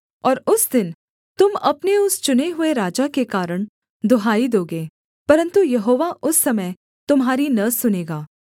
और उस दिन तुम अपने उस चुने हुए राजा के कारण दुहाई दोगे परन्तु यहोवा उस समय तुम्हारी न सुनेगा